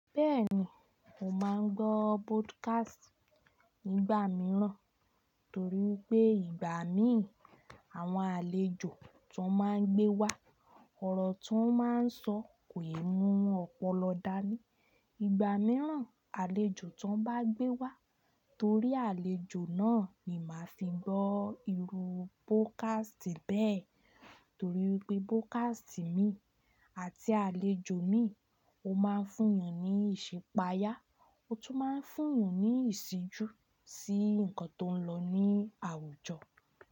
Bẹ́ẹ̀ni, mo máa ń gbọ́ podcast nígbà mìíràn, torí pé ìgbà mí àwọn àlejò tó máa ń gbé wá ọ̀rọ̀ tó máa ń sọ kò yẹ mú ọpọlọ dání. Ìgbà mìíràn àlejò tó bá gbé wá torí àlejò náà ni màá fi gbọ́ irú podcast bẹ́ẹ̀. Torí pé podcast mi àti àlejò mi ó máa ń fún ni ìṣẹ̀páyà, ó tún máa ń fún ni ìṣíjú sí nǹkan tó ń lọ ní àwùjọ.